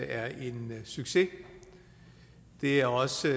er en succes det er også